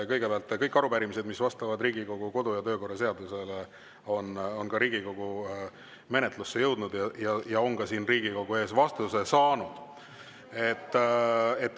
Kõigepealt, kõik arupärimised, mis vastavad Riigikogu kodu‑ ja töökorra seadusele, on Riigikogu menetlusse jõudnud ja on ka siin Riigikogu ees vastuse saanud.